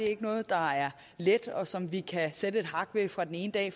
er noget der er let og som vi kan sætte et hak ved fra den ene dag